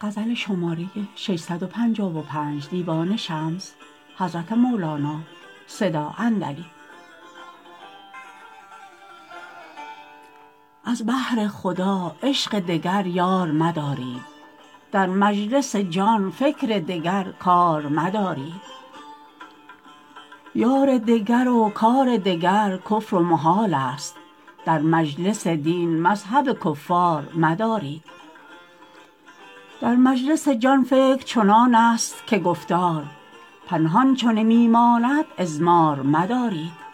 از بهر خدا عشق دگر یار مدارید در مجلس جان فکر دگر کار مدارید یار دگر و کار دگر کفر و محالست در مجلس دین مذهب کفار مدارید در مجلس جان فکر چنانست که گفتار پنهان چو نمی ماند اضمار مدارید